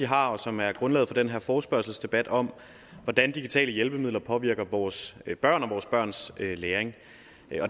har og som er grundlaget for den her forespørgselsdebat om hvordan digitale hjælpemidler påvirker vores børn og vores børns læring